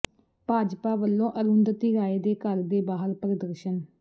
ਭਾਜਪਾ ਵੱਲੋਂ ਅਰੁੰਧਤੀ ਰਾਏ ਦੇ ਘਰ ਦੇ ਬਾਹਰ ਪ੍ਰਦਰਸ਼ਨ